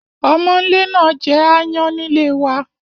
Omónle náà je aayán nílé wa